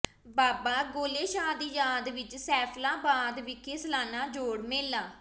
ਬਾਬਾ ਗੋਲੇ ਸ਼ਾਹ ਦੀ ਯਾਦ ਵਿਚ ਸੈਫ਼ਲਾਬਾਦ ਵਿਖੇ ਸਾਲਾਨਾ ਜੋੜ ਮੇਲਾ